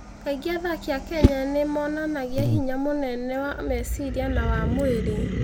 Kaingĩ athaki a Kenya nĩ monanagia hinya mũnene wa meciria na wa mwĩrĩ.